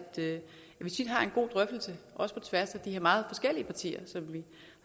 vi tit har en god drøftelse også på tværs af de her meget forskellige partier som vi